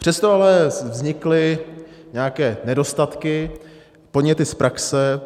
Přesto ale vznikly nějaké nedostatky, podněty z praxe.